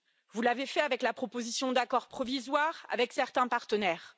Vous l'avez fait avec la proposition d'accord provisoire avec certains partenaires.